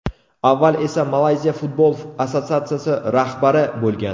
Avval esa Malayziya Futbol assotsiatsiyasi rahbari bo‘lgan.